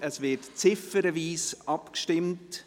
Es wird ziffernweise abgestimmt.